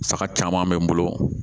Saga caman be n bolo